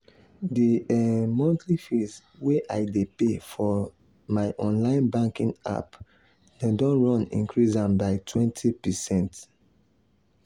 the um monthly fees wey i dey pay for um my online banking app dem don run increase am by 20%. um